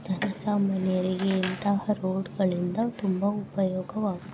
ಜನ ಸಮಾನ್ಯರಿಗೆ ಇಂತಹ ರೋಡ್ಗಳಿಂದ ತುಂಬಾ ಉಪಯೋಗವಾಗು --